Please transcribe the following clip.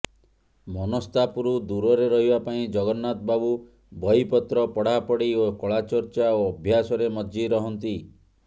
ମନସ୍ତାପରୁ ଦୂରରେ ରହିବା ପାଇଁ ଜଗନ୍ନାଥ ବାବୁ ବହିପତ୍ର ପଢ଼ାପଢ଼ି ଓ କଳାଚର୍ଚ୍ଚା ଓ ଅଭ୍ୟାସରେ ମଜ୍ଜି ରହନ୍ତି